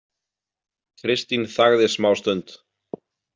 Kristín þagði smástund.